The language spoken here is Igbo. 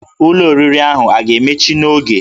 Ụlọ oriri ahụ a ga-emechi n'oge?